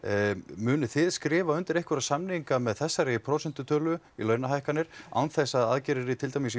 munið þið skrifa undir einhverja samninga með þessari prósentutölu í launahækkanir án þess að aðgerðir í til dæmis